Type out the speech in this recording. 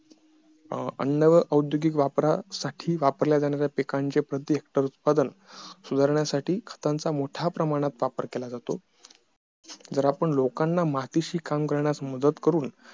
अन्न औद्योगिक वापरासाठी वापरल्या जाणाऱ्या पिकांचे उत्पादन सुधारण्यासाठी खतांचा मोठ्या प्रमाणात केला जातो जर आपण लोकांना मातीशी काम करण्यात मदत करून